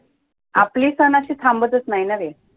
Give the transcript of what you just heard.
आपले सण अशे थांबतच नाहीत ना रे